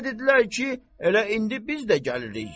Mənə dedilər ki, elə indi biz də gəlirik.